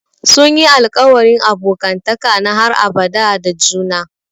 Sun yi alƙawarin abokantaka na har abada da juna.